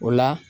O la